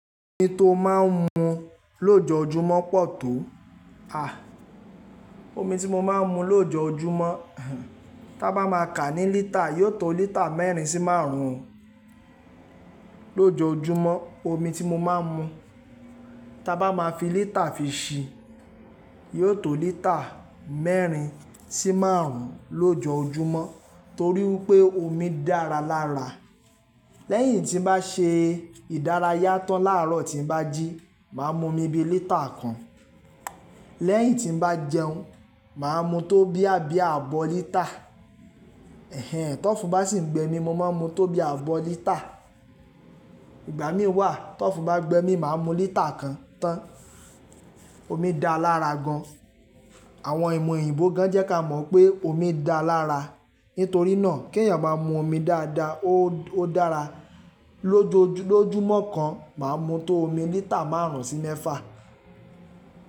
Omi tí mo máa ń mu lójoójúmọ́ pọ̀ tó. À, omi tí mo máa ń mu lójoójúmọ́, tá bá má a ka ní lítà yóò tó lítà mẹ́rin sí márùn ún lójoójúmọ́. Omi tí mo máa ń mu, tá bá má a fi lítà fi si yóò tó lítà mẹ́rin sí márùn ún lójoójúmọ́ torí wípé omi dára lára. Lẹ́yìn tí n bá se ìdárayá tán láàárọ̀ tí n bá jí, màá mu omi bi lítà kan. Lẹ́yìn tí n bá jẹun, màá mu tó bí i àbí ààbọ̀ lítà. Ẹ̀hẹ̀n, tọ́fù bá sì ń gbẹ mi, mo máa ń mu tó bí i ààbọ̀ lítà. Ìgbà mí wà, tọ́fù bá gbẹ mi, màá mu lítà kan tán. Omi dáa lára gan. Àwọn ìmọ̀ oyibo gan jẹ́ ká mọ̀ pé omi dáa lára. Nítorínà ke yàn bá mu omi dáadáa, ó odára. Lójojú lójoójúmọ́ kan, màá mu tó omi lítà márùn ún sí mẹ́fà.